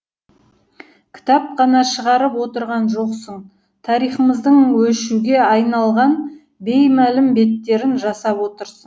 кітап қана шығарып отырған жоқсың тарихымыздың өшуге айналған беймәлім беттерін жасап отырсың